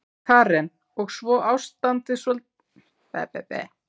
Karen: Og svo ástandið kannski líka?